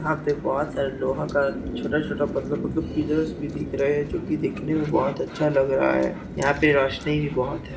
यहाँ पे बहोत सारा लोहा का छोटा छोटा पतला पतला पिलस भी दिख रहे हैं जो की दिखने मे बहोत अच्छा लग रहा हैं यहाँ पे रोशनी भी बहोत है।